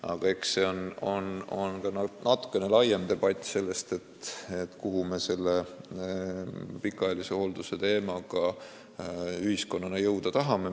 Aga eks on vaja natuke laiemat debatti, kuhu me selle pikaajalise hoolduse teemaga ühiskonnana jõuda tahame.